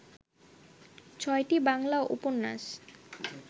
ছয়টি বাংলা উপন্যাস